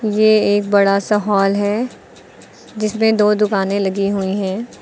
ये एक बड़ा सा हॉल है जिसमें दो दुकानें लगी हुई है।